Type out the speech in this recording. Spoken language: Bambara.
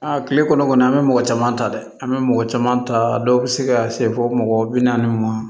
Aa kile kɔnɔ an bɛ mɔgɔ caman ta dɛ an bɛ mɔgɔ caman ta dɔw bɛ se ka se fɔ mɔgɔ bi naani ma